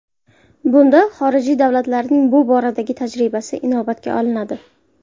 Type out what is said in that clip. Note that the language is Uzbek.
Bunda xorijiy davlatlarning bu boradagi tajribasi inobatga olinadi.